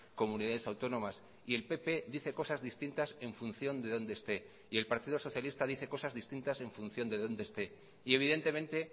comunidades autónomas y el pp dice cosas distintas en función de donde esté y el partido socialista dice cosas distintas en función de donde esté y evidentemente